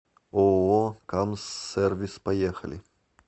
ооо камсс сервис поехали